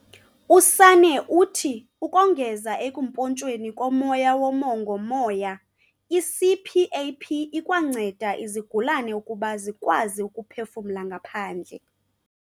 USanne uthi ukongeza ekumpontshweni komoya womongo-moya, i-CPAP ikwanceda izigulane ukuba zikwazi ukuphefumlela ngaphandle.